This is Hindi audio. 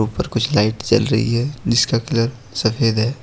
ऊपर कुछ लाइट जल रही है जिसका कलर सफेद है।